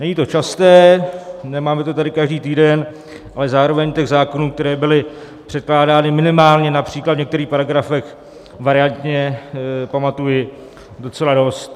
Není to časté, nemáme to tady každý týden, ale zároveň těch zákonů, které byly předkládány minimálně například v některých paragrafech variantně, pamatuji docela dost.